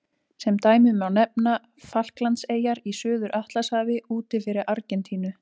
Sem dæmi má nefna Falklandseyjar í Suður-Atlantshafi úti fyrir Argentínu.